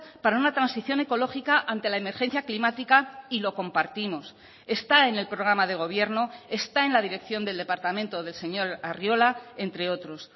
para una transición ecológica ante la emergencia climática y lo compartimos está en el programa de gobierno está en la dirección del departamento del señor arriola entre otros